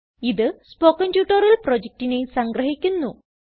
ഇത് spoken tutorial പ്രൊജക്റ്റിനെ സംഗ്രഹിക്കുന്നു